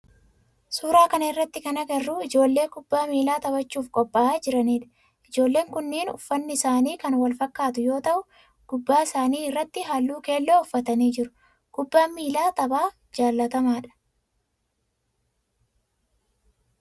Suuraa kana irratti kan agarru ijoollee kubbaa miilaa taphachuf qopha'aa jiranidha. Ijoolleen kunneen uffanni isaanii kan wal fakkaatu yoo ta'u gubbaa isaani irratti haalluu keelloo uffatanii jiru. Kubbaan miilaa tapha jaalatamaadha.